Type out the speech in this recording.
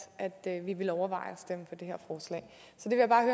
at vi ville overveje